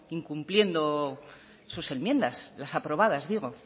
incumpliendo sus enmiendas las aprobadas digo